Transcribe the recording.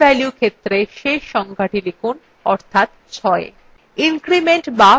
end value ক্ষেত্রে শেষ সংখ্যাটি লিখুনঅর্থাৎ 6